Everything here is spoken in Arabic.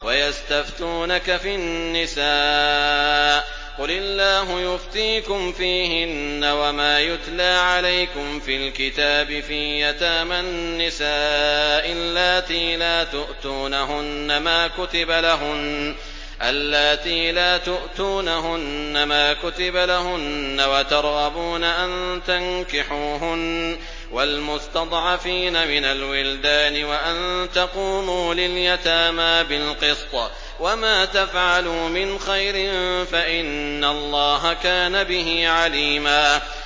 وَيَسْتَفْتُونَكَ فِي النِّسَاءِ ۖ قُلِ اللَّهُ يُفْتِيكُمْ فِيهِنَّ وَمَا يُتْلَىٰ عَلَيْكُمْ فِي الْكِتَابِ فِي يَتَامَى النِّسَاءِ اللَّاتِي لَا تُؤْتُونَهُنَّ مَا كُتِبَ لَهُنَّ وَتَرْغَبُونَ أَن تَنكِحُوهُنَّ وَالْمُسْتَضْعَفِينَ مِنَ الْوِلْدَانِ وَأَن تَقُومُوا لِلْيَتَامَىٰ بِالْقِسْطِ ۚ وَمَا تَفْعَلُوا مِنْ خَيْرٍ فَإِنَّ اللَّهَ كَانَ بِهِ عَلِيمًا